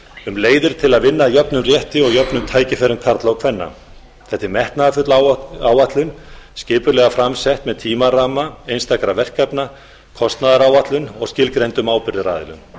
um leiðir til að vinna að jöfnum rétti og jöfnum tækifærum karla og kvenna þetta er metnaðarfull áætlun skipulega fram sett með tímaramma einstakra verkefna kostnaðaráætlun og skilgreindum ábyrgðaraðilum